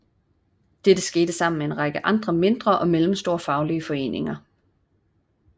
Dette skete sammen med en række andre mindre og mellemstore faglige foreninger